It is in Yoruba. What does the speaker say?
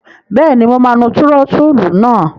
Bẹ́ẹ̀ni, mo máa nu túrótóòlù náà.